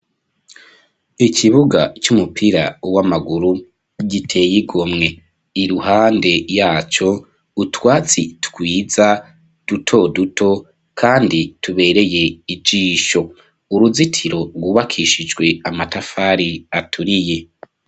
Ikibuga, c'umupira w'amaguru, giteye igomwe; iruhande yaco, utwatsi twiza, duto duto, kandi tubereye ijisho; uruzitiro, rwubakishijwe amatafari, aturiye.